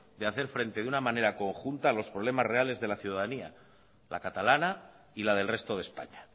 de hacer frente de una manera conjunta a los problemas reales de la ciudadanía la catalana y la del resto de españa